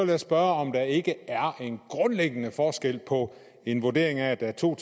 jeg spørge om der ikke er en grundlæggende forskel på en vurdering af at der er to